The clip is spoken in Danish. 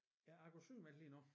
Ja jeg går sygemeldt lige nu